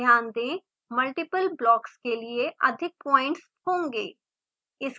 ध्यान दें multiple blocks के लिए अधिक पॉइंट्स होंगे